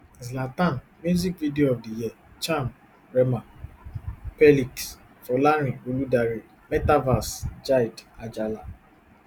zlatan music video of di year charm rema x perliks x folarin oludare metaverse jyde ajala